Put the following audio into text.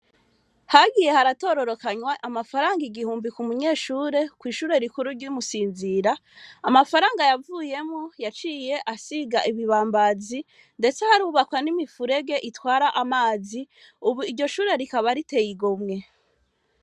Hagiye haratororokanywa amafaranga igihumbi ku munyeshure kw'ishure rikuru ry'umusinzira amafaranga yavuyemo yaciye asiga ibibambazi, ndetse harubakwa n'imifurege itwara amazi, ubu iryo shure rikaba riteyigomwe.